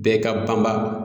Bɛɛ ka banba.